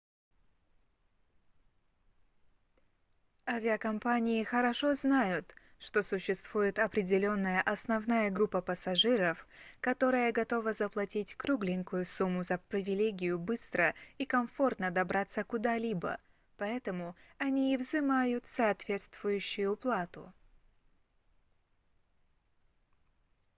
авиакомпании хорошо знают что существует определённая основная группа пассажиров которая готова заплатить кругленькую сумму за привилегию быстро и комфортно добраться куда-либо поэтому они и взимают соответствующую плату